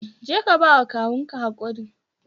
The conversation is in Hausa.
Je ka ba wa kawun ka hakuri